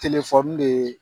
Telefɔni de ye